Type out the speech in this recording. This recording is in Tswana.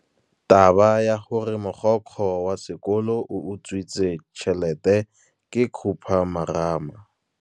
Taba ya gore mogokgo wa sekolo o utswitse tšhelete ke khupamarama.